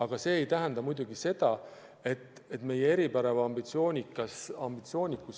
Aga see ei tähenda muidugi seda, et meie ambitsioonid ei võiks olla veel suuremad.